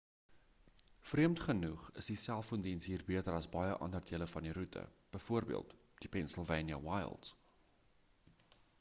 vreemd genoeg is die selfoondiens hier beter as baie ander dele van die roete bv die pennsylvania wilds